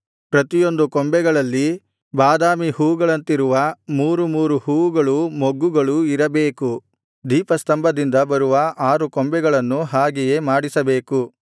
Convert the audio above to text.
ಪ್ರತಿಯೊಂದು ಕೊಂಬೆಗಳಲ್ಲಿ ಬಾದಾಮಿ ಹೂವುಗಳಂತಿರುವ ಮೂರು ಮೂರು ಹೂವುಗಳೂ ಮೊಗ್ಗುಗಳೂ ಇರಬೇಕು ದೀಪಸ್ತಂಭದಿಂದ ಬರುವ ಆರು ಕೊಂಬೆಗಳನ್ನು ಹಾಗೆಯೇ ಮಾಡಿಸಬೇಕು